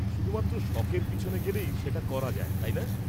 -শুধুমাত্র শখের পিছনে গেলেই সেটা করা যায়, তাই না?